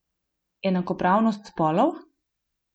Enakopravnost spolov?